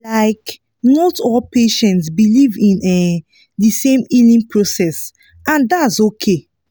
like not all patients believe in um the same healing process and that’s okay